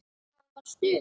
Það var stuð!